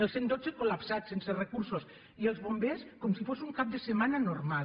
el cent i dotze col·lapsat sense recursos i els bombers com si fos un cap de setmana normal